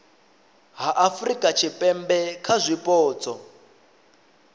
ha afurika tshipembe kha zwipotso